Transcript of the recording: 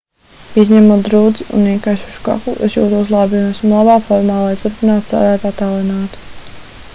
izņemot drudzi un iekaisušu kaklu es jūtos labi un esmu labā formā lai turpinātu strādāt attālināti